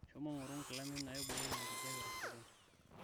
shomo ngoru nkilani naiboyo enkijape tosokponi